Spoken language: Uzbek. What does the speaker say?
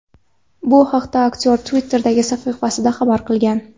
Bu haqda aktyor Twitter’dagi sahifasida xabar qoldirgan .